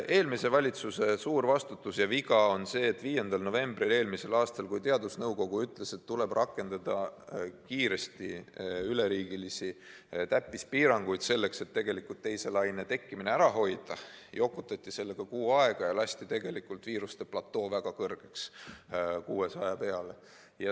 Eelmise valitsuse suur vastutus ja viga oli see, et 5. novembril, kui teadusnõukoda ütles, et tuleb kiiresti rakendada üleriigilisi täppispiiranguid, et teise laine tekkimine ära hoida, jokutati kuu aega ja lasti viiruse platoo väga kõrgeks, 600 peale.